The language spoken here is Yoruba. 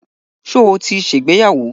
Ṣo ti ṣègbéyàwó?